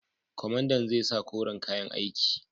Kwamandan zai sa koren kayan aiki.